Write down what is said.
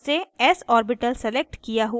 default से s orbital selected किया हुआ है